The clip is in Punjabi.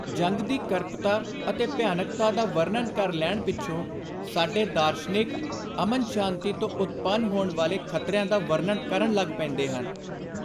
ਜੰਗ ਦੀ ਕਰਪਤਾ ਅਤੇ ਭਿਆਨਕਤਾ ਦਾ ਵਰਣਨ ਕਰ ਲੈਣ ਪਿੱਛੋਂ ਸਾਡੇ ਦਾਰਸ਼ਨਿਕ, ਅਮਨ-ਸ਼ਾਂਤੀ ਤੋਂ ਉਤਪੰਨ ਹੋਣ ਵਾਲੇ ਖ਼ਤਰਿਆਂ ਦਾ ਵਰਣਨ ਕਰਨ ਲੱਗ ਪੈਂਦੇ ਹਨ।